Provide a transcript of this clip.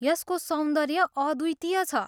यसको सौन्दर्य अद्वितीय छ।